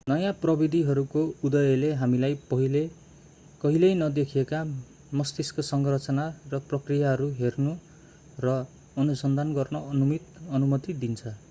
नयाँ प्रविधिहरूको उदयले हामीलाई पहिले कहिल्यै नदेखिएका मस्तिष्क संरचना र प्रक्रियाहरू हेर्न र अनुसन्धान गर्न अनुमति दिन्छ